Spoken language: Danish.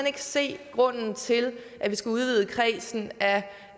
ikke se grunden til at vi skal udvide kredsen